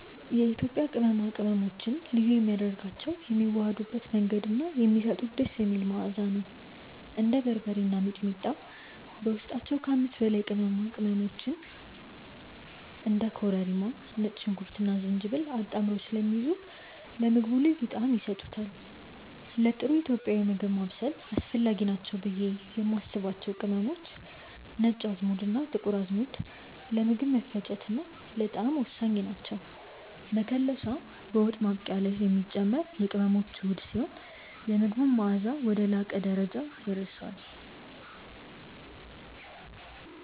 የኢትዮጵያ ቅመማ ቅመሞችን ልዩ የሚያደርጋቸው የሚዋሃዱበት መንገድ እና የሚሰጡት ደስ የሚል መዓዛ ነው። እንደ በርበሬ እና ሚጥሚጣ በውስጣቸው ከ5 በላይ አይነት ቅመሞችን (እንደ ኮረሪማ፣ ነጭ ሽንኩርትና ዝንጅብል) አጣምረው ስለሚይዙ ለምግቡ ልዩ ጣዕም ይሰጡታል። ለጥሩ ኢትዮጵያዊ ምግብ ማብሰል አስፈላጊ ናቸው ብዬ የማስባቸው ቅመሞች፦ ነጭ አዝሙድና ጥቁር አዝሙድ፦ ለምግብ መፈጨትና ለጣዕም ወሳኝ ናቸው። መከለሻ፦ በወጥ ማብቂያ ላይ የሚጨመር የቅመሞች ውህድ ሲሆን፣ የምግቡን መዓዛ ወደ ላቀ ደረጃ ያደርሰዋል።